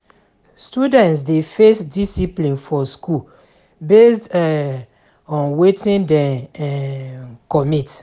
Students de face discipline for school based um on wetin dem um commit